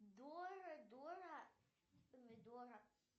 дора дора помидора